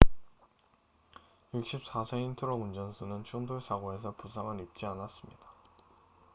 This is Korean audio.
64세인 트럭 운전수는 충돌 사고에서 부상을 입지 않았습니다